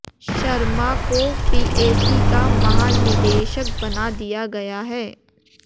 शर्मा को पीएसी का महानिदेशक बना दिया गया है